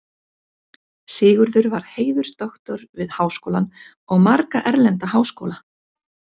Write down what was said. Sigurður var heiðursdoktor við Háskólann og marga erlenda háskóla.